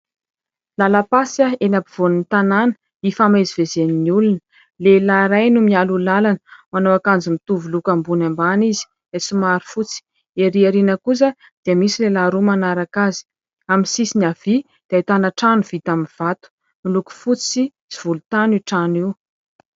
Lalam-pasika eny ampovoan'ny tanàna, ifamezivezen'ny olona. Lehilahy iray no mialoha lalana, manao akanjo mitovy loko ambony ambany izy, somary fotsy. Ery aoriana kosa dia misy lehilahy roa manaraka azy. Amin'ny sisiny havia dia ahitana trano vita amin'ny vato. Miloko fotsy sy volontany io trano io.